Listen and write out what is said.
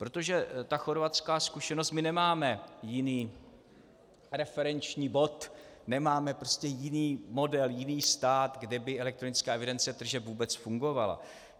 Protože ta chorvatská zkušenost - my nemáme jiný referenční bod, nemáme prostě jiný model, jiný stát, kde by elektronická evidence tržeb vůbec fungovala.